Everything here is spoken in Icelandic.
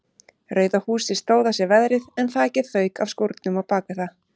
Rauða húsið stóð af sér veðrið en þakið fauk af skúrnum á bakvið það.